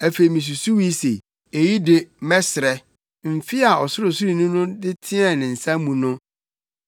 Afei misusuwii se, “Eyi de, mɛsrɛ: mfe a Ɔsorosoroni no teɛɛ ne nsa nifa mu no.”